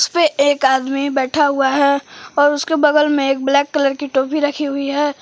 उसपे एक आदमी बैठा हुआ है और उसके बगल में एक ब्लैक कलर की टोपी रखी हुई है।